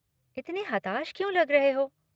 इतने हताश क्यों लग रहे हो?